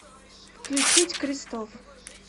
включить крестов